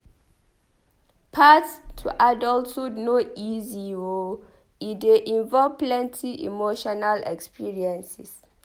Path to adulthood no easy o e dey involve plenty emotional experiences.